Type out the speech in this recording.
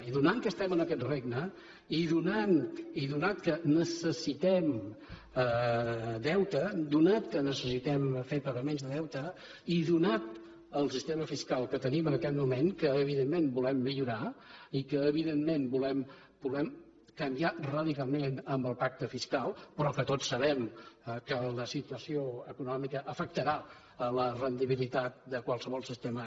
i atès que estem en aquest regne i atès que necessitem deute atès que necessitem fer pagaments de deute i donat el sistema fiscal que tenim en aquest moment que evidentment volem millorar i que evidentment volem canviar radicalment amb el pacte fiscal però que tots sabem que la situació econòmica afectarà la rendibilitat de qualsevol sistema